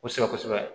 Kosɛbɛ kosɛbɛ